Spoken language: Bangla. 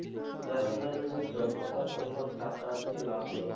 দেখাগেলো যে যতটা পরিমান টাকা আরকি লাগলো